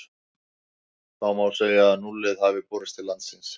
Þá má segja að núllið hafi borist til Íslands.